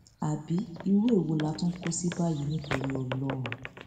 àbí irú èwo la tún kọ sí báyìí nítorí ọlọrun